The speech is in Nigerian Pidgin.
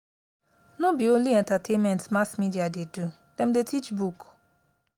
no be only entertainment mass media dey do dem dey teach book.